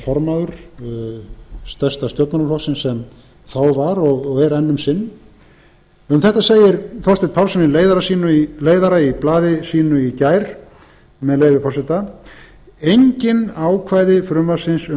formaður stærsta stjórnmálaflokksins sem þá var og er enn um sinn um þetta segir þorsteinn pálsson í leiðara í blaði sínu í gær með leyfi forseta engin ákvæði frumvarpsins